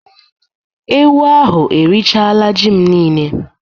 Ewu ahụ erichaala ji m niile